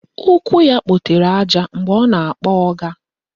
Ụkwụ ya kpotere àjà mgbe ọ na-akpọ ọga